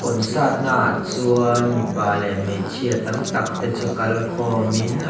concert naah chuan mipa leh hmeichhia tam tak te chu kal khawmin an --